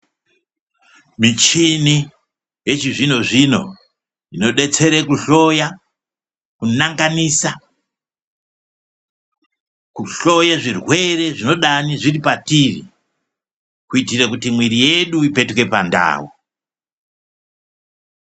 Michini yechizvino zvino inodetsera kuhloya kunanganisa zvirwere zvinodani zviripatiri kuitira kuti mwiire yedu ipetuke pandau.